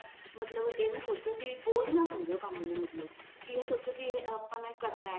ਮਤਲਬ ਇਹ ਨਾ ਸੋਚੋ ਕੀ ਬੋਝ ਨਾ ਸਮਝੋ ਕੰਮ ਨੂੰ ਮਤਲਬ ਕੀ ਇਹ ਸੋਚੋ ਵੀ ਆਪਾਂ ਨੇ ਕਰਨਾ